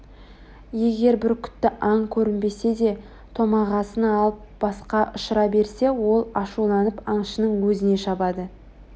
егер бүркітті аң көрінбесе де томағасын алып босқа ұшыра берсе ол ашуланып аңшының өзіне шабады